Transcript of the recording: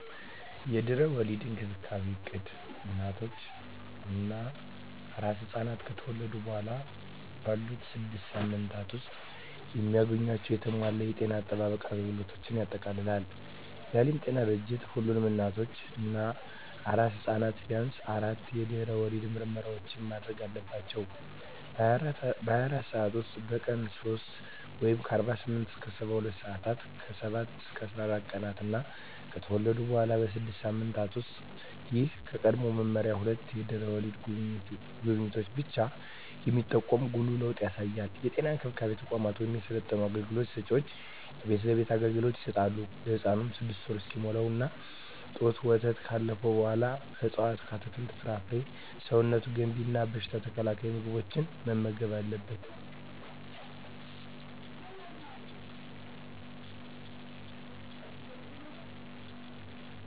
የድህረ ወሊድ እንክብካቤ እቅድ እናቶች እና አራስ ሕፃናት ከተወለዱ በኋላ ባሉት ስድስት ሳምንታት ውስጥ የሚያገኟቸውን የተሟላ የጤና አጠባበቅ አገልግሎቶችን ያጠቃልላል። የዓለም ጤና ድርጅት ሁሉም እናቶች እና አራስ ሕፃናት ቢያንስ አራት የድህረ ወሊድ ምርመራዎችን ማድረግ አለባቸው - በ24 ሰዓት ውስጥ፣ በቀን 3 (48-72 ሰአታት)፣ ከ7-14 ቀናት እና ከተወለዱ በኋላ ባሉት 6 ሳምንታት ውስጥ። ይህ ከቀድሞው መመሪያ ሁለት የድህረ ወሊድ ጉብኝቶችን ብቻ የሚጠቁም ጉልህ ለውጥ ያሳያል። የጤና እንክብካቤ ተቋማት ወይም የሰለጠኑ አገልግሎት ሰጭዎች የቤት ለቤት አገልግሎት ይሰጣሉ። ለህፃኑም 6ወር እስኪሞላው የእናት ጡት ወተትና ካለፈው በኃላ ከእፅዋት አትክልት፣ ፍራፍሬ ሰውነት ገንቢ እና በሽታ ተከላካይ ምግቦችን መመገብ አለብን